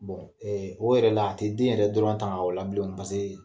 o yɛrɛ la, a tɛ den yɛrɛ dɔrɔn taŋa o la bilen o pasekee